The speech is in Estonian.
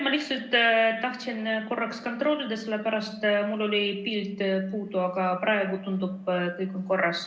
Ma lihtsalt tahtsin sidet kontrollida, sellepärast et mul oli enne pilt puudu, aga praegu tundub, et kõik on korras.